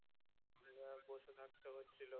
নয় বসে থাকতে হচ্ছিল